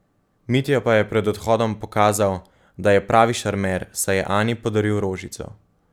Mitja pa je pred odhodom pokazal, da je pravi šarmer, saj je Ani podaril rožico.